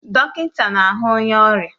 Dọkịta na-ahu onye ọrịa